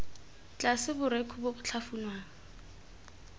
tlase borekhu bo bo tlhafunwang